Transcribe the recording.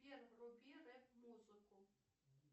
сбер вруби рэп музыку